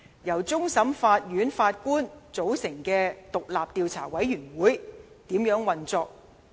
由終審法院首席法官組成的獨立調查委員會如何運作？